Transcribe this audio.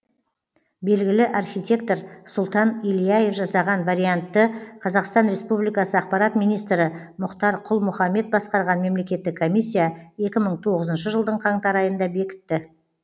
белгілі архитектор сұлтан ильяев жасаған вариантты қазақстан республикасы ақпарат министрі мұхтар құл мұхаммед басқарған мемлекеттік комиссия екі мың тоғызыншы жылдың қаңтар айында бекітті